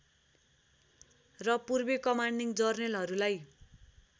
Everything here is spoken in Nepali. र पूर्वी कमान्डिङ जर्नेलहरूलाई